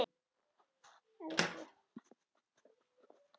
Hver græðir á evru?